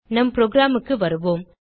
நம் programக்கு வருவோம்